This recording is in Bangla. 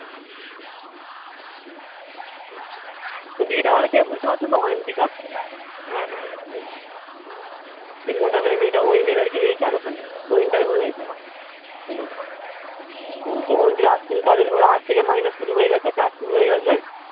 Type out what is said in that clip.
ওই দিদি টা বলে কে বুঝতে পারছো তো অয়ন্তিকা সেই মোটা করে মেয়ে টা ওই মেয়ে টা নাকি HR ওখানে ও interview নেয় সবার ওর আজ থেকে মাইনে শুরু হয়ে গেছে কাজ শুরু হয়ে গেছে